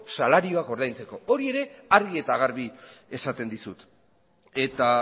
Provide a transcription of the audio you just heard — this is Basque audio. salarioak ordaintzeko hori ere argi eta garbi esaten dizut eta